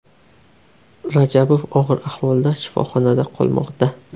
Rajabov og‘ir ahvolda shifoxonada qolmoqda.